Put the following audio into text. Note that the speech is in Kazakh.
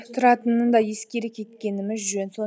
тұратынын да ескере кеткеніміз жөн